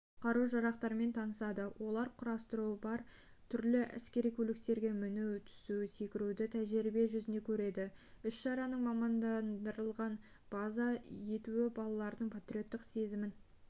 қару-жарақтармен танысады оларды құрастыру бар түрлі әскери көліктерге міну түсу секіруді тәжірибе жүзінде көреді іс-шараның мамандандырылған базада өтуі балалардың патриоттық сезімін